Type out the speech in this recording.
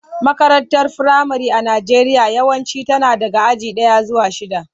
Makarantar firamare a Najeriya yawanci tana daga aji daya zuwa shida.